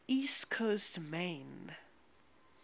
east coast maine